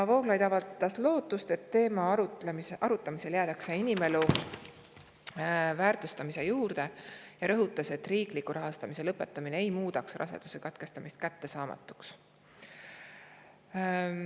Vooglaid avaldas lootust, et teema arutamisel jäädakse inimelu väärtustamise juurde, ja rõhutas, et riikliku rahastamise lõpetamine ei muudaks raseduse katkestamist kättesaamatuks.